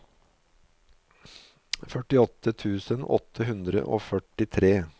førtiåtte tusen åtte hundre og førtitre